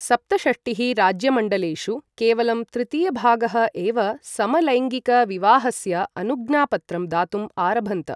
सप्तषष्टिः राज्यमण्डलेषु केवलं तृतीयभागः एव समलैङ्गिकविवाहस्य अनुज्ञापत्रं दातुम् आरभन्त।